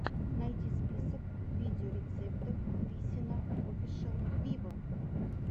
найди список видеорецептов висина офишел виво